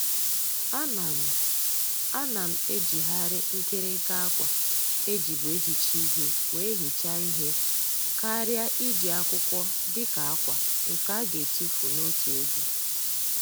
A na m A na m ejighari nkirinka akwa ejibu ehicha ihe wee hichaa ihe karịa iji akwụkwọ dịka akwa nke a ga etufu n'otu oge.